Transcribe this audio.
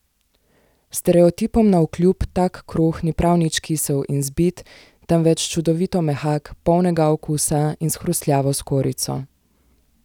Stereotipom navkljub tak kruh ni prav nič kisel in zbit, temveč čudovito mehak, polnega okusa in s hrustljavo skorjico.